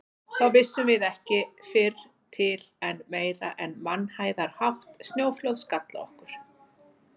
Þá vissum við ekki fyrr til en meira en mannhæðarhátt snjóflóð skall á okkur.